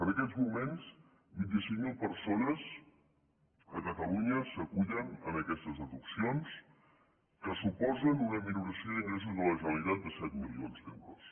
en aquests moments vinti cinc mil persones a catalunya s’acullen a aquestes deduccions que suposen una minoració d’ingressos de la generalitat de set milions d’euros